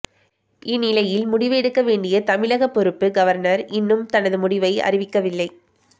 இந்நிலையில் முடிவு எடுக்க வேண்டிய தமிழக பொறுப்பு கவர்னர் இன்னும் தனது முடிவை அறிவிக்கவில்லை